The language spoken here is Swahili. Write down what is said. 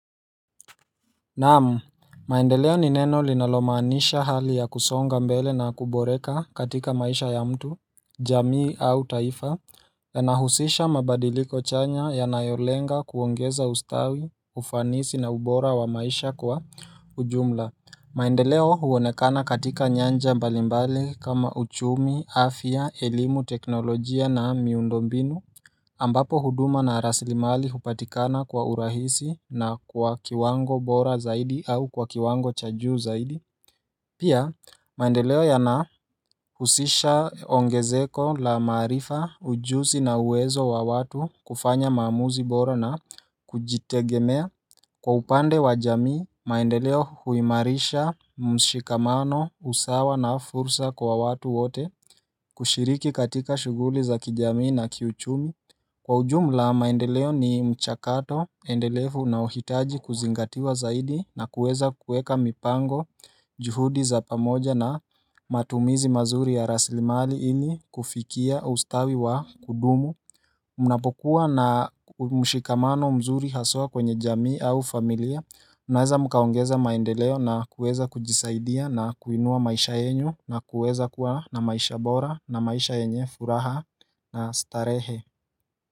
Naam, maendeleo ni neno linalomaanisha hali ya kusonga mbele na kuboreka katika maisha ya mtu, jamii au taifa, yanahusisha mabadiliko chanya yanayolenga kuongeza ustawi, ufanisi na ubora wa maisha kwa ujumla. Maendeleo huonekana katika nyanja mbalimbali kama uchumi, afya, elimu, teknolojia na miundombinu ambapo huduma na raslimali hupatikana kwa urahisi na kwa kiwango bora zaidi au kwa kiwango cha juu zaidi. Pia, maendeleo yanahusisha ongezeko la maarifa ujuzi na uwezo wa watu kufanya maamuzi bora na kujitegemea. Kwa upande wa jamii, maendeleo huimarisha mshikamano usawa na fursa kwa watu wote kushiriki katika shughuli za kijamii na kiuchumi. Kwa ujumla maendeleo ni mchakato, endelefu unao hitaji kuzingatiwa zaidi na kuweza kueka mipango juhudi za pamoja na matumizi mazuri ya raslimali ini kufikia ustawi wa kudumu mnapokuwa na mshikamano mzuri haswa kwenye jamii au familia Mnnaweza mkaongeza maendeleo na kuweza kujisaidia na kuinua maisha yenyu na kuweza kuwa na maisha bora na maisha yenye furaha na starehe.